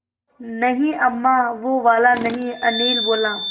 नहीं अम्मा वो वाला नहीं अनिल बोला